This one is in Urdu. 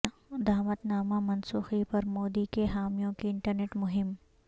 دعوت نامہ منسوخی پر مودی کے حامیوں کی انٹرنیٹ مہم